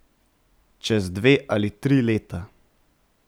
Čez dve ali tri leta.